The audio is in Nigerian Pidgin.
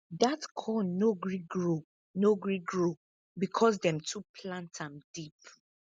dat corn no gree grow no gree grow because dem too plant am deep